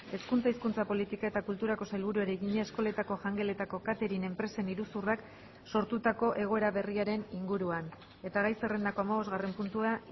hezkuntza hizkuntza politika eta kulturako sailburuari egina eskoletako jangeletako catering enpresen iruzurrak sortutako egoera berriaren inguruan eta gai zerrendako hamabosgarren puntua